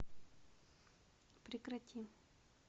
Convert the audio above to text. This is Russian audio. прекрати